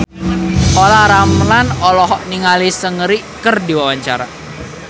Olla Ramlan olohok ningali Seungri keur diwawancara